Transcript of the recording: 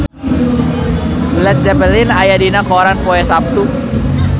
Led Zeppelin aya dina koran poe Saptu